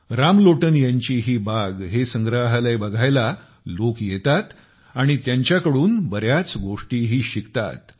रामलोटन यांची ही बाग हे संग्रहालय बघायला लोक येतात आणि त्यांच्याकडून बऱ्याच गोष्टीही शिकतात